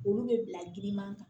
Olu bɛ bila giriman kan